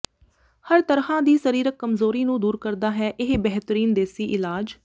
ਹਰ ਤਰ੍ਹਾਂ ਦੀ ਸਰੀਰਕ ਕਮਜ਼ੋਰੀ ਨੂੰ ਦੂਰ ਕਰਦਾ ਹੈ ਇਹ ਬਿਹਤਰੀਨ ਦੇਸੀ ਇਲਾਜ